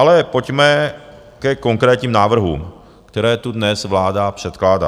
Ale pojďme ke konkrétním návrhům, které tu dnes vláda předkládá.